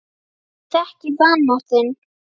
Ég þekki vanmátt þinn.